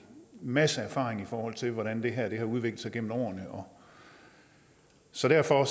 masse erfaring i forhold til hvordan det her har udviklet sig gennem årene så derfor